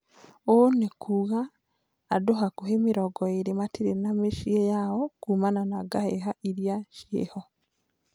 Ũũnĩkuga andu hakuhĩ mĩrongo ĩrĩ matirĩ na muciĩ yao kuumana na ngaheha iria ciĩho